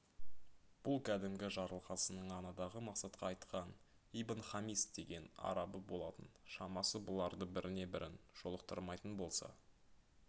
бұл кәдімгі жарылқасынның анадағы мақсатқа айтқан ибн-хамис деген арабы болатын шамасы бұларды біріне бірін жолықтырмайтын болса